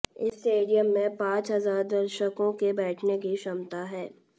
इस स्टेडियम में पांच हजार दर्शकों के बैठने की क्षमता है